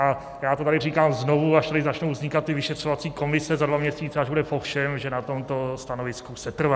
A já to tady říkám znovu, až tady začnou vznikat ty vyšetřovací komise za dva měsíce, až bude po všem, že na tomto stanovisku setrvám.